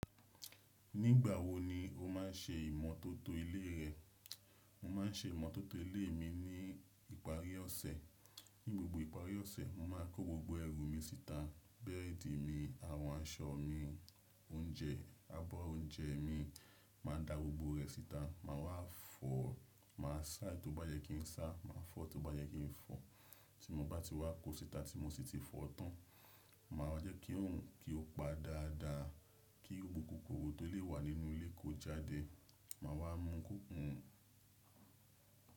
Nígbà wo ni o má ń ṣe ìmọ́tótó ilé rẹ? Mo má ń ṣe ìmọ́tótó ilé mi ní ìparí ọ̀sẹ̀. Ní gbogbo ìparí ọ̀sẹ̀, mo máa ń kó gbogbo ẹrù mi síta. Bẹ́ẹ̀dì mi, àwọn aṣọ mi, oúnjẹ, abọ́ oúnjẹ mi. Màá dá gbogbo rẹ̀ síta. Màá wá fọ̀, màá sá tó bá yẹ kí n sá, màá fọ́ tó bá yẹ kí n fọ̀. Ti mo bá ti wá kó síta, ti mo sí ti fọ̀ tán, màá wa jẹ́ kí òun kí ó pa dáadáa, kí gbogbo kòkòrò tó lè wà nínú ilé kó jáde. Màá wá mú kòkòrò.